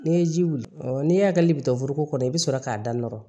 N'i ye ji wuli n'e hakili bɛ to foroko kɔnɔ i bɛ sɔrɔ k'a da nɔrɔ